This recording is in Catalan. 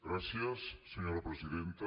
gràcies senyora presidenta